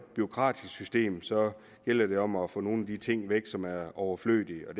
bureaukratisk system gælder det om at få nogle af de ting væk som er overflødige og